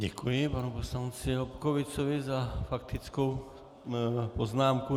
Děkuji panu poslanci Lobkowiczovi za faktickou poznámku.